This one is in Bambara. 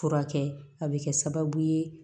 Furakɛ a bɛ kɛ sababu ye